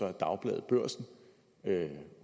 af dagbladet børsen